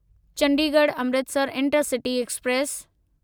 Chandigarh Amritsar intercity express